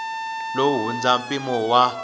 lowu wu hundza mpimo wa